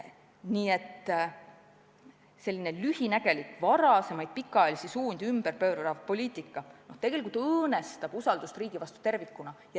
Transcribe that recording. Nii et selline lühinägelik, varasemaid pikaajalisi suundi ümberpöörav poliitika tegelikult õõnestab usaldust riigi vastu tervikuna.